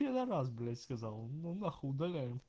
пидарас блять сказал он ну нахуй удаляем